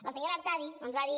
la senyora artadi ens va dir